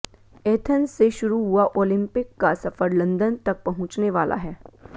Athens से शुरू हुआ ओलिंपिक का सफर लंदन तक पहुंचने वाला है